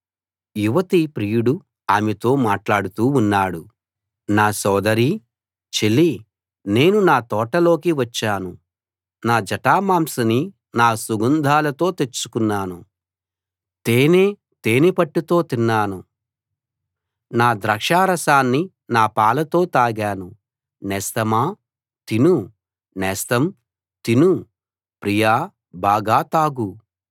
యువతి ప్రియుడు ఆమెతో మాట్లాడుతూ ఉన్నాడు నా సోదరీ చెలీ నేను నా తోటలోకి వచ్చాను నా జటామాంసిని నా సుగంధాలతో తెచ్చుకున్నాను తేనె తేనెపట్టుతో తిన్నాను నా ద్రాక్షారసాన్ని నా పాలతో తాగాను నేస్తమా తిను నేస్తం తిను ప్రియా బాగా తాగు